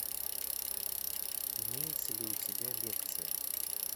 имеется ли у тебя лекция